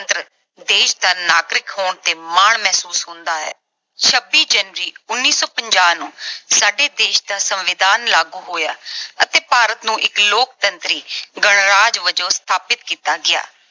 ਦੇਸ਼ ਦਾ ਨਾਗਰਿਕ ਹੋਣ ਤੇ ਮਾਣ ਮਹਿਸੂਸ ਹੁੰਦਾ ਹੈ। ਛੱਬੀ January, ਉਨੀ ਸੌ ਪੰਜਾਹ ਨੂੰ ਸਾਡੇ ਦੇਸ਼ ਦਾ ਸੰਵਿਧਾਨ ਲਾਗੂ ਹੋਇਆ ਅਤੇ ਭਾਰਤ ਨੂੰ ਇੱਕ ਲੋਕਤੰਤਰੀ ਗਣਰਾਜ ਵਜੋਂ ਸਥਾਪਤ ਕੀਤਾ ਗਿਆ।